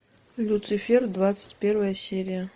люцифер двадцать первая серия